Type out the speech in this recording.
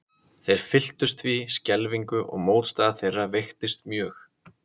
Þeir fylltust því skelfingu og mótstaða þeirra veiktist mjög.